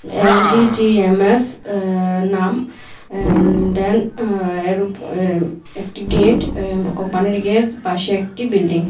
LDGMS অ্যা নাম দেন একটি গেট কোম্পানির গেট পাশে একটি বিল্ডিং ।